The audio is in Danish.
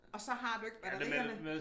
Og så har du ikke batterierne